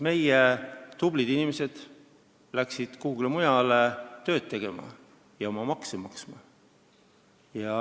Meie tublid inimesed läksid kuhugi mujale tööd tegema ja makse maksma.